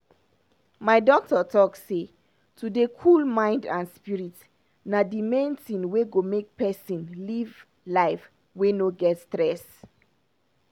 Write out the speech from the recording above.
my doctor talk am say to dey cool mind and spirit na d main tin wey go make pesin live life wey no get stress.